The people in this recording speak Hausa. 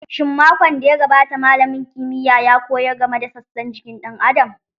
Shin makon da ya gabata malamin kimiyya ya koyar game da sassan jikin ɗan Adam?